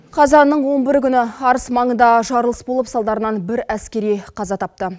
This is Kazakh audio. қазанның он бірі күні арыс маңында жарылыс болып салдарынан бір әскери қаза тапты